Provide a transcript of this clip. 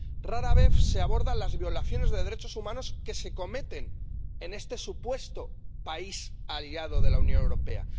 Rara vez se abordan las violaciones de derechos humanos que se cometen en este supuesto país aliado de la Unión Europea.